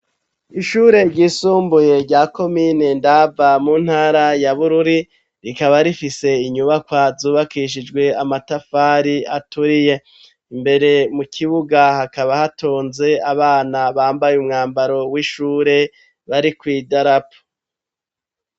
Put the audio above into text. Ishure ryisumbuye rya komine Ndava, mu ntara ya Bururi, rikaba rifise inyubakwa zubakishijwe amatafari aturiye. Imbere mu kibuga hakaba hatonze abana bambaye umwambaro w'ishure bari kw'idarapo.